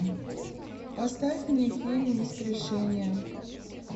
поставь мне фильм воскрешение